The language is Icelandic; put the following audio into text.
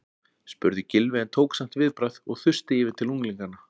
spurði Gylfi en tók samt viðbragð og þusti yfir til unglinganna.